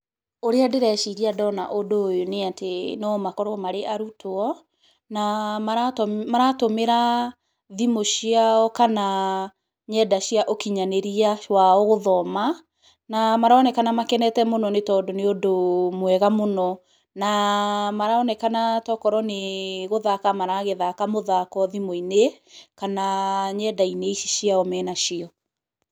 Ũrĩa ndĩreciria ndona ũndũ ũyũ nĩ atĩ, no makorwo marĩ arutwo, na maratũ maratũmĩra thimũ ciao kana nenda cia ũkinyanĩria wao gũthoma, na maronekana makenete mũno nĩ tondũ nĩ ũndũ mwega mũno, na maronekana tokorwo nĩ gũthaka maragĩthaka mũthako thimũ-inĩ, kana nenda-inĩ ici ciao me nacio.